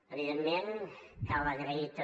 evidentment cal agrair també